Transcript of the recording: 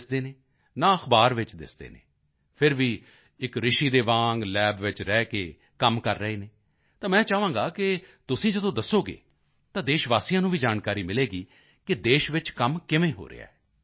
ਤੇ ਦਿਖਦੇ ਹਨ ਨਾ ਅਖਬਾਰ ਵਿੱਚ ਦਿਸਦੇ ਹਨ ਫਿਰ ਵੀ ਇੱਕ ਰਿਸ਼ੀ ਦੇ ਵਾਂਗ ਲੈਬ ਵਿੱਚ ਰਹਿ ਕੇ ਕੰਮ ਕਰ ਰਹੇ ਹਨ ਤਾਂ ਮੈਂ ਚਾਹਾਂਗਾ ਕਿ ਤੁਸੀਂ ਜਦੋਂ ਦੱਸੋਗੇ ਤਾਂ ਦੇਸ਼ਵਾਸੀਆਂ ਨੂੰ ਵੀ ਜਾਣਕਾਰੀ ਮਿਲੇਗੀ ਕਿ ਦੇਸ਼ ਵਿੱਚ ਕੰਮ ਕਿਵੇਂ ਹੋ ਰਿਹਾ ਹੈ